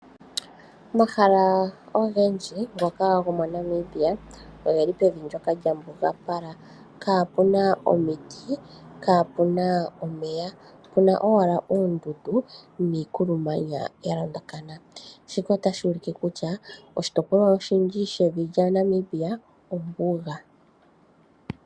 Omahala ogendji ngoka gomo Namibia oge li pevi ndyoka lya mbugapala, kaapuna omiti, kaa puna omeya, puna owala oondundu niikulumanya ya londakana. Shika otashi ulike kutya oshitopolwa oshindji shevi lya Namibia ombuga.